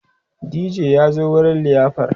DJ ya zo wurin liyafar